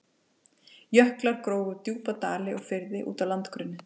Jöklar grófu djúpa dali og firði út á landgrunnið.